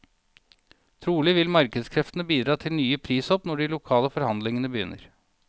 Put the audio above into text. Trolig vil markedskreftene bidra til nye prishopp når de lokale forhandlingene begynner.